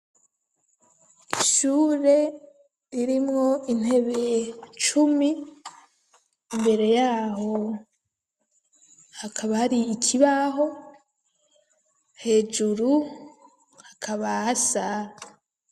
Ishure irimwo intebe cumi ,imbere yaho hakaba ari ikibaho, hejuru hakaba hasa